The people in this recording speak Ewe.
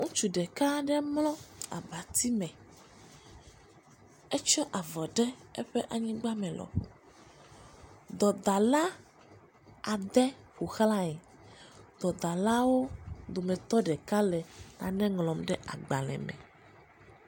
Ŋutsu ɖeka aɖe mlɔ abati me. Etsɔ avɔ ɖe eƒe anyigba me lɔƒo. dɔdala adre ƒoxlae. Dɔdzlawo dometɔ ɖeka le nane ŋlɔm ɖe agbale me.